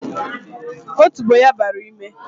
Otubo ya bara n'ime